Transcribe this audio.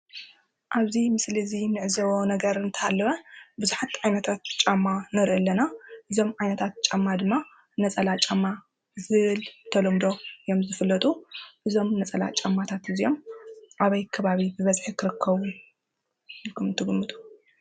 ኣብ እዚ ምስሊ እዚ ንዕዘቦ ነገር እንተሃለወ ቡዝሓት ዓይነታት ጫማ ንርኢ ኣለና እዞም ዓይነታት ጫማ ድማ ነፀላ ጫማ ዝብል ተለምዶ እዮም ዝፍለጡ እዞም ነፀላ ጫማታት እዚኦም ኣበይ ከባቢ ብበዝሒ ክርከቡ ኢልኩም ትግምቱ?